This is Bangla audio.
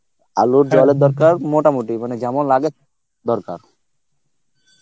আলুর দরকার মোটা মুটি মানে যেমন লাগে দরকার